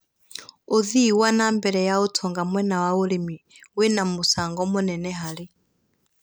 ũthii wa nambere ya ũtonga mũena wa ũrĩmi wĩna mũcango mũnene harĩ